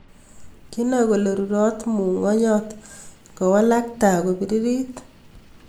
Kinae kole rurot mungonjot ndawalak tai ko piririt